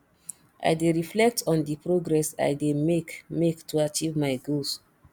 i dey reflect on di progress i dey make make to achieve my goals